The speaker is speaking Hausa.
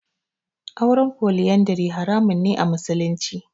Auren Foliyandari haramun ne a musulunci.